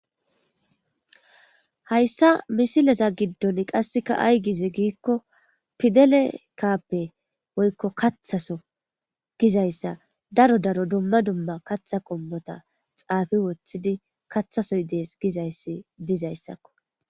hayssa misileza giddon qasseka ay gize giikko pidele kaappe woykko kathaso gizayssa daro daro dumma dumma katha qombota xaafi woththidi kathasoy dees gizayssi dizayssakko